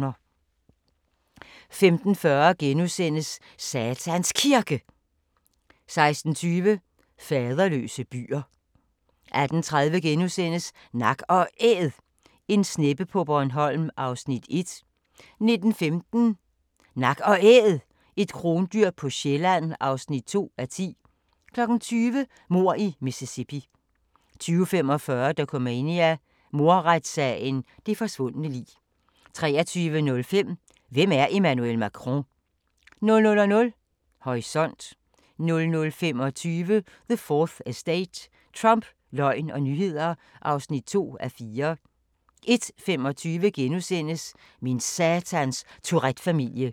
15:40: Satans Kirke * 16:20: Faderløse byer 18:30: Nak & Æd – en sneppe på Bornholm (1:10)* 19:15: Nak & Æd – et krondyr på Sjælland (2:10) 20:00: Mord i Mississippi 20:45: Dokumania: Mordretssagen – det forsvundne lig 23:05: Hvem er Emmanuel Macron? 00:00: Horisont 00:25: The 4th Estate – Trump, løgn og nyheder (2:4) 01:25: Min satans Tourette-familie *